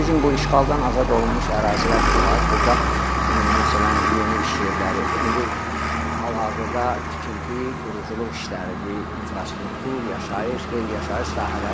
Bizim bu işğaldan azad olunmuş ərazilər ki var, burda məsələn, yeni iş yerləri, indi hal-hazırda tikinti, quruculuq işləridir, infrastruktur, yaşayış, qeyri-yaşayış sahələri.